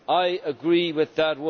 I agree with that